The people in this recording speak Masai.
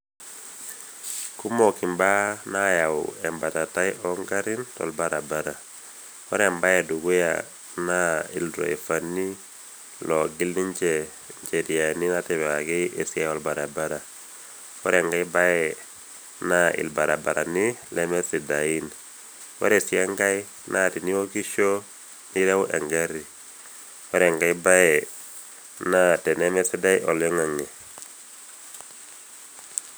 Kumok imbaa naayau embatatai ongarrin tolbarabara. Ore embae edukuya naa ildraifani loogil ninje  injeriani natipikaki esiai olbaribara. Ore enkae bae naa  ilbarabarani lemesidain. Ore sii enkae naa tiniokisho piireu engarri. Ore enkae bae naa tenemesidai oloing'ang'e